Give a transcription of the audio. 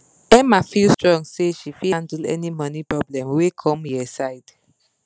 emma feel strong say she fit handle any money problem wey come here side